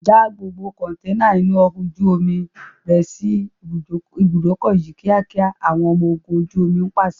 Já gbogbo kọntẹ́ẹ́nà inú ọkọ̀ ojú omi rẹ sì ibùdókọ̀ yìí kíákíá! Àwọn ọmọ ogún ojú omi pàṣẹ.